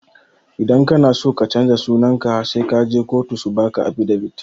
Idan kana so ka canja sunanka sai kaje kotu su baka afidavit.